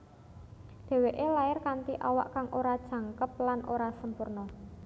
Dhèwèké lair kanthi awak kang ora jangkep lan ora sampurna